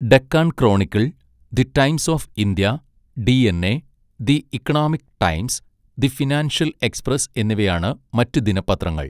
Deccan Chronicle, The Times of India, DNA, The Economic Times, The Financial Express എന്നിവയാണ് മറ്റ് ദിനപത്രങ്ങൾ.